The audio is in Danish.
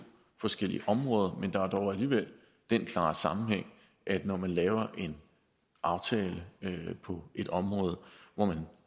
forskellige områder men der er dog alligevel den klare sammenhæng at når man laver en aftale på et område hvor man